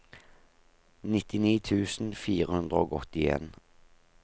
nittini tusen fire hundre og åttien